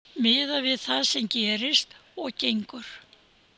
Miðað við það sem gerist og gengur.